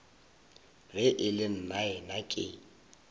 ge e le nnaena ke